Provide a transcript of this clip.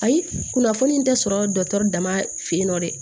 Ayi kunnafoni tɛ sɔrɔ dɔgɔtɔrɔ dama fe yen nɔ dɛ